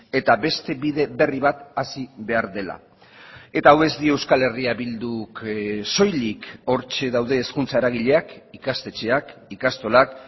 eta beste bide berri bat hasi behar dela eta hau ez dio euskal herria bilduk soilik hortxe daude hezkuntza eragileak ikastetxeak ikastolak